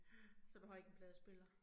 Ja, så du har ikke en pladespiller?